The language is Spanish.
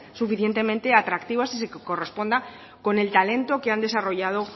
suficientemente atractivas y que se corresponda con el talento que han desarrollado